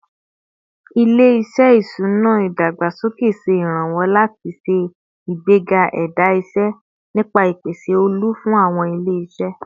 Ile-iṣẹ iṣuna idagbasoke ṣe iranlọwọ lati ṣe igbega ẹda iṣẹ nipasẹ ipese olu fun awọn ile-iṣẹ